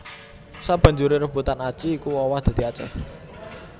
Sabanjuré sebutan Aci iku owah dadi Aceh